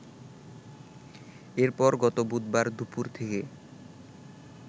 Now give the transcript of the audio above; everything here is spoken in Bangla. এরপর গত বুধবার দুপুর থেকে